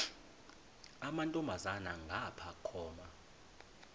amantombazana ngapha koma